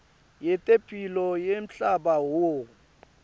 yetemphilo yemhlaba who